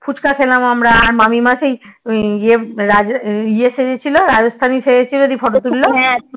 ফুসকা খেলাম আমরা আর মামী মা সেই ইয়ে ইয়ে সেজেছিল রাজস্থানি সেজেছিল যে Photo তুললো